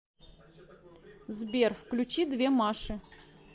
сбер включи две маши